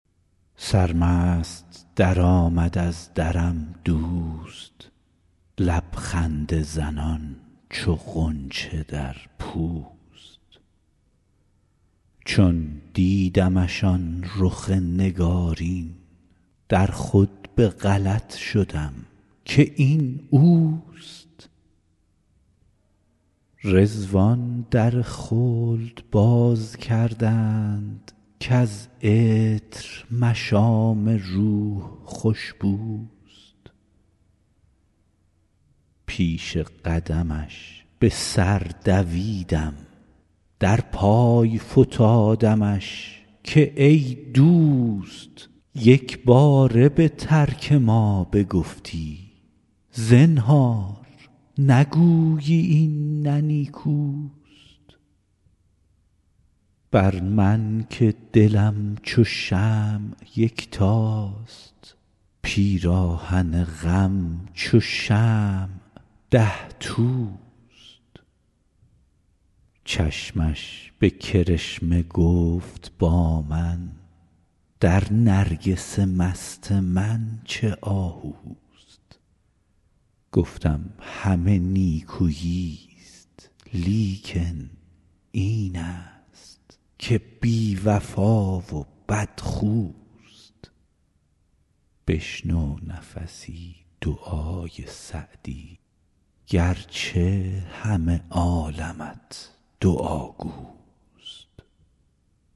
سرمست درآمد از درم دوست لب خنده زنان چو غنچه در پوست چون دیدمش آن رخ نگارین در خود به غلط شدم که این اوست رضوان در خلد باز کردند کز عطر مشام روح خوش بوست پیش قدمش به سر دویدم در پای فتادمش که ای دوست یک باره به ترک ما بگفتی زنهار نگویی این نه نیکوست بر من که دلم چو شمع یکتاست پیراهن غم چو شمع ده توست چشمش به کرشمه گفت با من در نرگس مست من چه آهوست گفتم همه نیکویی ست لیکن این است که بی وفا و بدخوست بشنو نفسی دعای سعدی گر چه همه عالمت دعاگوست